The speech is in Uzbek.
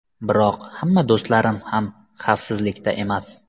Biroq hamma do‘stlarim ham xavfsizlikda emas.